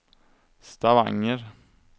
Stavanger